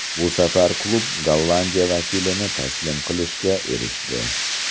Bu safar klub Gollandiya vakilini taslim qilishga erishdi.